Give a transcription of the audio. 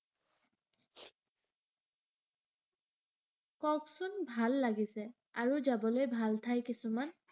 কওঁকচোন ভাল লাগিছে। আৰু যাবলৈ ভাল ঠাই কিছুমান।